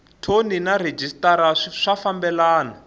thoni na rhejisitara swi fambelani